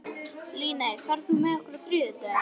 Líney, ferð þú með okkur á þriðjudaginn?